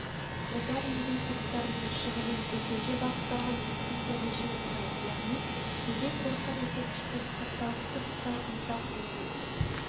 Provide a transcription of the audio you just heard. отырар музей-қорықтарының шығынын өтеуге бағытталатын субсидия мөлшері құрайды яғни музей-қорықтар ескерткіштерді сақтау күтіп-ұстау инфрақұрылымын